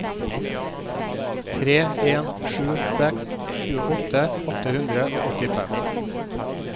tre en sju seks tjueåtte åtte hundre og åttifem